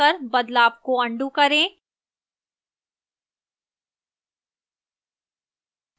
ctrl + z keys दबाकर बदलाव को अन्डू करें